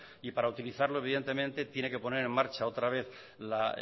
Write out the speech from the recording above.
y para utilizarlo evidentemente tiene que poner en marcha otra vez la